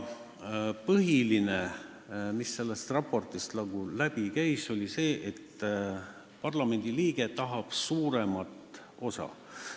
Põhiline mõte, mis sellest raportist läbi käis, oli see, et parlamendiliige tahab suuremat rolli.